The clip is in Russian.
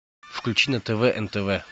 включи на тв нтв